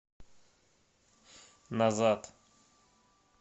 назад